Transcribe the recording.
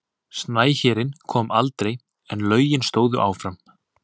Snæhérinn kom aldrei en lögin stóðu áfram.